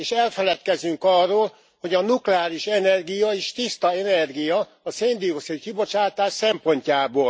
És elfeledkezünk arról, hogy a nukleáris energia is tiszta energia a szén dioxid kibocsátás szempontjából.